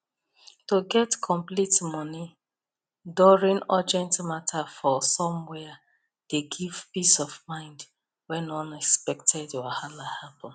to get complete money during urgent matter for somwhere dey give peace of mind when unexpected wahala happen